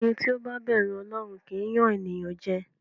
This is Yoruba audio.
Ẹni tí ó bá bẹ̀rù Ọlọ́run kì í yàn ènìyàn jẹ.